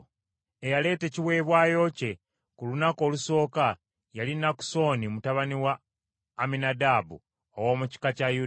Eyaleeta ekiweebwayo kye ku lunaku olusooka yali Nakusoni mutabani wa Amminadaabu ow’omu kika kya Yuda.